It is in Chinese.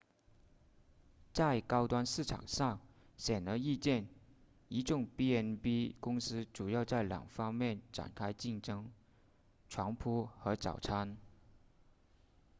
在高端市场上显而易见一众 b&b 公司主要在两个方面展开竞争床铺和早餐